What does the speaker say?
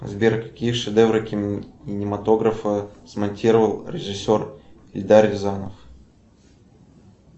сбер какие шедевры кинематографа смонтировал режиссер эльдар рязанов